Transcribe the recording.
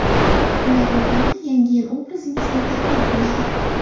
Ular yordamida Yangi yil obrazingiz betakror bo‘ladi!